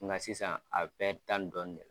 Nga sisan a bɛ tan ni dɔɔni ne